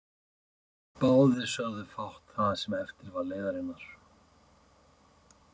Báðir sögðu fátt það sem eftir var leiðarinnar.